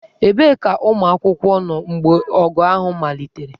Ebee ka ụmụ akwụkwọ nọ mgbe ọgụ ahụ malitere?